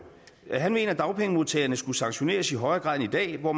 han mener at dagpengemodtagerne skulle sanktioneres i højere grad end i dag hvor